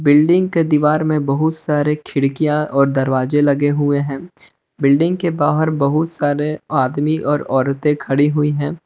Building के दीवार में बहुत सारे खिड़कियां और दरवाजे लगे हुए हैं बिल्डिंग के बाहर बहुत सारे आदमी और औरतें खड़ी हुई हैं।